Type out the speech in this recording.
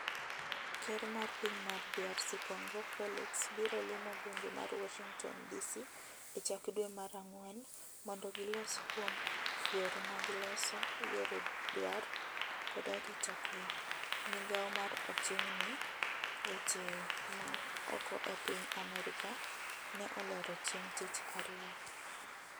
Ker mar piny mar DRC Congo Felix biro limo gwenge mag Warshington Dc e chak dwe mar ang'wen mondo gilos kuom yore mag loso yore dwar kod arita kwe, migawo ma oching' ni weche ma oko e piny America ne olero chieng tich ariyo